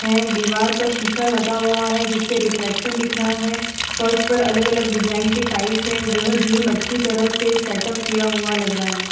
यह डिवार पर शीशा लगा हुआ है जिससे रिफ्लेक्शन दिख रहा है फर्श पर अलग-अलग डिजाइन की टाइल्स है यह जिम अच्छी तरह से सेटअप किया हुआ लग रहा है।